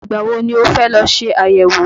Ìgbà wo ni o fẹ́ lọ ṣe àyẹ̀wò?